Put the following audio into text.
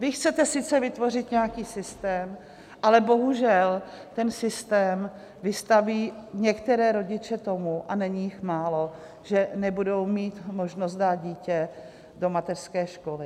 Vy chcete sice vytvořit nějaký systém, ale bohužel ten systém vystaví některé rodiče tomu - a není jich málo - že nebudou mít možnost dát dítě do mateřské školy.